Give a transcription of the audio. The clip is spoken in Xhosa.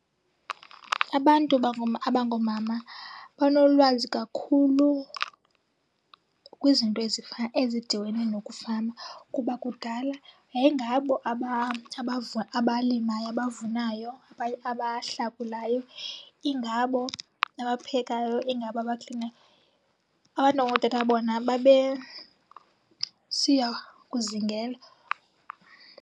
Abantu abangoomama banolwazi kakhulu kwizinto ezifana ezidibene nokufama kuba kudala yayingabo abalimayo, abavunayo, abahlakulayo. Ingabo abaphekayo, ingabo abaklinayo. Abantu abangootata bona babesiya kuzingela.